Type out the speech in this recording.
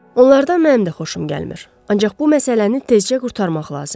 Onlardan mənim də xoşum gəlmir, ancaq bu məsələni tezcə qurtarmaq lazımdır.